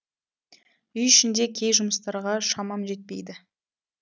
үй ішінде кей жұмыстарға шамам жетпейді